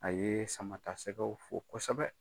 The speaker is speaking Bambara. A ye sama ta sɛgɛw fo kosɛbɛ.